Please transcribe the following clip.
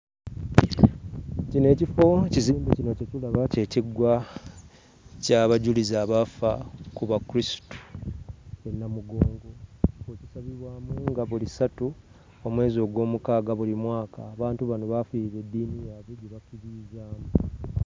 Kino ekifo ekizimbe kino kye tulaba ky'ekiggwa ky'abajulizi abaafa ku bakulisitu e Namugongo, ekisabirwamu nga buli ssatu omwezi Ogwomukaaaga buli mwaka. Abantu bano baafiirira eddiiini yaabwe gye bakkiririzaamu.